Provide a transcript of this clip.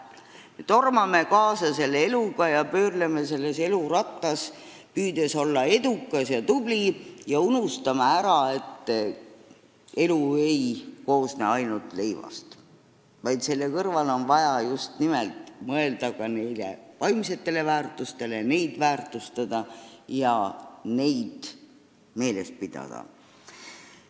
Me tormame eluga kaasa ja pöörleme elurattas, püüdes olla edukad ja tublid, aga unustame ära, et elu ei koosne ainult leivast, vaid selle kõrval on vaja mõelda ka vaimsetele väärtustele, neid hinnata ja meeles pidada.